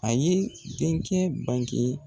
A ye denkɛ banke